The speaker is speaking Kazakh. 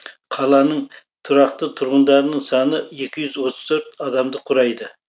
қаланың тұрақты тұрғындарының саны екі жүз отыз төрт адамды құрайды